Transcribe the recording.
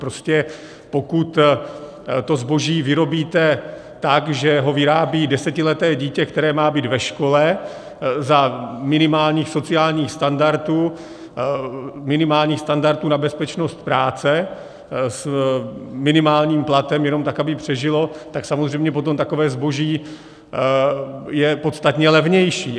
Prostě pokud to zboží vyrobíte tak, že ho vyrábí desetileté dítě, které má být ve škole, za minimálních sociálních standardů, minimálních standardů na bezpečnost práce, s minimálním platem jenom tak, aby přežilo, tak samozřejmě potom takové zboží je podstatně levnější.